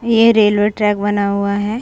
ये railway track बना हुआ है।